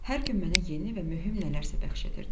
Hər gün mənə yeni və mühüm nələrsə bəxş edirdi.